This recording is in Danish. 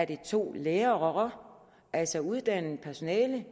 det er to lærere altså uddannet personale